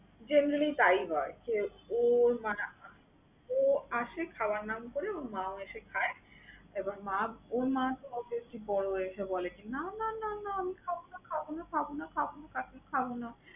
Generally তাই হয় যে ওর মা রান্না করে। ও আসে খাওয়ার নাম করে, ওর মাও এসে খায়। এবার মা ওর মা তো obviously বড় এসে বলেকি না না না না আমি খাবোনা, খাবোনা, খাবোনা, খাবোনা, খাবোনা, খাবোনা।